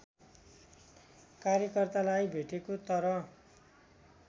कार्यकर्तालाई भेटेको तर